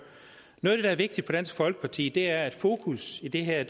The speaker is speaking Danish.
noget der er vigtigt for dansk folkeparti er at fokus i det her